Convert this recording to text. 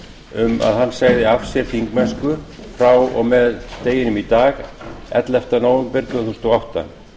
um að hann segði af sér þingmennsku frá og með deginum í dag ellefta nóvember tvö þúsund og átta